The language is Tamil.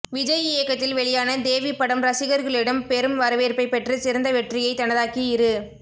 விஜய் இயக்கத்தில் வெளியான தேவி படம் ரசிகர்களிடம் பெரும் வரவேற்பை பெற்று சிறந்த வெற்றியை தனதாக்கி இரு